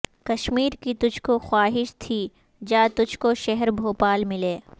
کشمیر کی تجھ کو خواہش تھی جا تجھ کو شہر بھوپال ملے